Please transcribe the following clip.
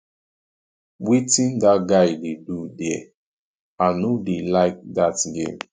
wetin dat guy dey do there i no dey like dat game